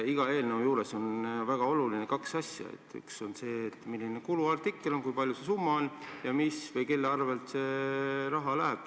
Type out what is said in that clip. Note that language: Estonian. Iga eelnõu juures on väga olulised kaks asja: üks on see, milline on kuluartikkel, st kui palju see summa on, ja mille või kelle arvel see raha tuleb.